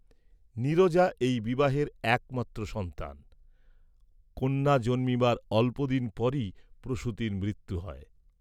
নীরজা এই বিবাহের একমাত্র সন্তান, কন্যা জন্মিবার অল্পদিন পরেই প্রসূতির মৃত্যু হয়।